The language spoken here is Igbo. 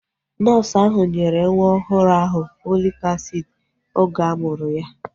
Nọọsu ahu nyere nwa ọhụrụ ahụ Fọlik asiidi oge a mụrụ ya